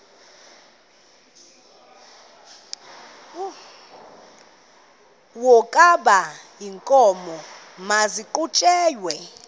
wokaba iinkomo maziqhutyelwe